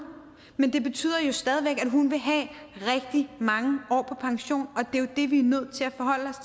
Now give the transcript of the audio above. men det betyder jo stadig væk at hun vil have rigtig mange år på pension det er jo det vi er nødt